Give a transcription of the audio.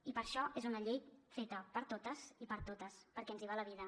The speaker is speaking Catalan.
i per això és una llei feta per totes i per a totes perquè ens hi va la vida